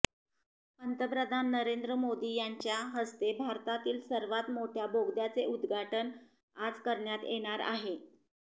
पंतप्रधान नरेंद्र मोदी यांच्या हस्ते भारतातील सर्वात मोठय़ा बोगद्याचे उद्घाटन आज करण्यात येणार आहे